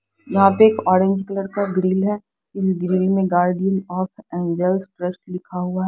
यहां पे एक ऑरेंज कलर का ग्रिल हैउस grill guardian of angels press लिखा हुआ है।